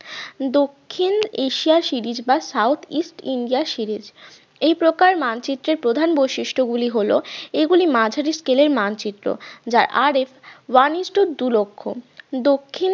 দক্ষিণ Asia series বা south east India series এই প্রকার মানচিত্রের প্রধান বৈশিষ্ট গুলি হলো এগুলি মাঝারি scale এর মানচিত্র যার RSone is to দুই লক্ষ দক্ষিণ